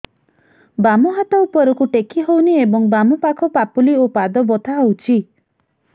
ବାମ ହାତ ଉପରକୁ ଟେକି ହଉନି ଏବଂ ବାମ ପାଖ ପାପୁଲି ଓ ପାଦ ବଥା ହଉଚି